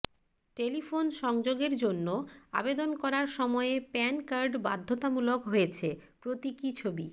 telephone সংযোগের জন্য আবেদন করার সময়ে প্যান কার্ড বাধ্যতামূলক হয়েছে প্রতীকী ছবি